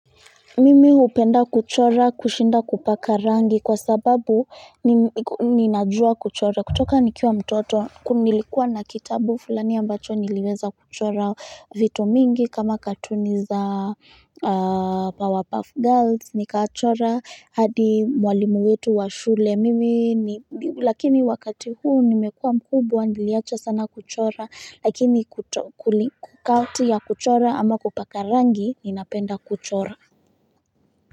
Mimi hupenda kuchora kushinda kupaka rangi kwa sababu ninajua kuchora. Kutoka nikiwa mtoto nilikuwa na kitabu fulani ambacho niliweza kuchora vitu mingi kama katuni za powerpuff girls nikachora hadi mwalimu wetu wa shule mimi lakini wakati huu nimekuwa mkubwa niliacha sana kuchora lakini kati ya kuchora ama kupaka rangi ninapenda kuchora.